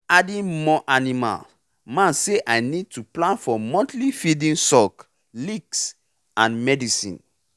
adding more animal man say i need to plan for monthly feeding salk licks and medicine